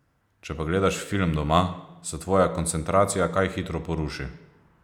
Če pa gledaš film doma, se tvoja koncentracija kaj hitro poruši.